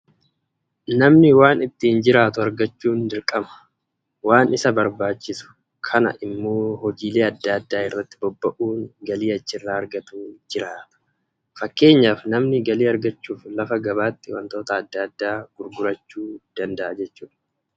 Namni waan ittiin jiraatu argachuun dirqama. Waan isa barbaachisu kana immoo hojiilee adda addaa irratti bobba'uun galii achi irraa aragatuun jiraata. Fakkeenyaaf namni galii aragachuuf, lafa gabaatti wantoota adda addaa gurgurachuu danda'a.